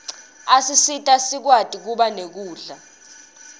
asisita sikwati kuba nekudla